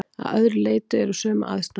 Að öðru leyti eru sömu aðstæður.